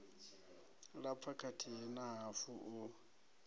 lapfa kathihi na hafu u